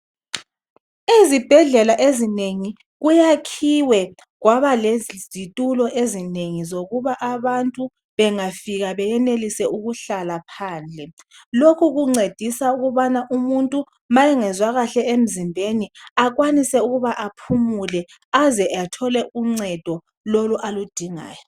ezibhedlela ezinengi kuyakhiwe kwaba lezitulo ezinengi zokuba abantu bengafika beyenelise ukuhlala phandle lokhu kuncedisa ukubana umuntu ma engezwa kahle emzimbeni akwanise ukuba aphumule aze athole uncedo lolu aludingayo